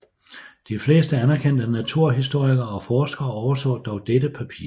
De fleste anerkendte naturhistorikere og forskere overså dog dette papir